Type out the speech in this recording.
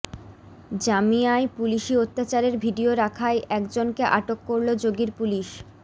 জামিয়ায় পুলিশি অত্যাচারের ভিডিও রাখায় একজনকে আটক করল যোগীর পুলিশ